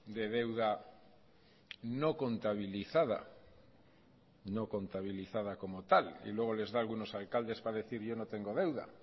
de deuda no contabilizada no contabilizada como tal y luego les da algunos alcaldes para decir yo no tengo deuda